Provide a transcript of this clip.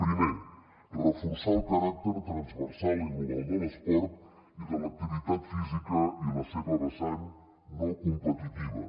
primer reforçar el caràcter transversal i global de l’esport i de l’activitat física i la seva vessant no competitiva